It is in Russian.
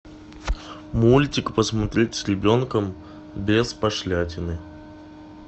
мультик посмотреть с ребенком без пошлятины